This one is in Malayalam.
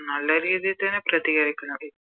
നല്ല രീതി തന്നെ പ്രതികരിക്കണം